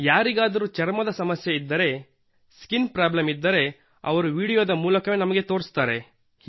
ಯಾರಿಗಾದರೂ ಚರ್ಮದ ಸಮಸ್ಯೆ ಇದ್ದರೆ ಸ್ಕಿನ್ ಪ್ರಾಬ್ಲೆಮ್ ಇದ್ದರೆ ಅವರು ವೀಡಿಯೊದ ಮೂಲಕವೇ ನಮಗೆ ತೋರಿಸುತ್ತಾರೆ